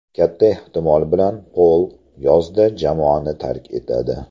Katta ehtimol bilan Pol yozda jamoani tark etadi.